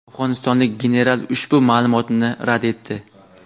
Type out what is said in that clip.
afg‘onistonlik general ushbu ma’lumotni rad etdi.